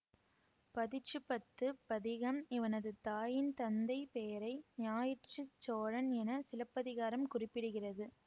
பதிற்றுப்பத்து பதிகம் இவனது தாயின் தந்தை பெயரை ஞாயிற்றுச் சோழன் என சிலப்பதிகாரம் குறிப்பிடுகிறது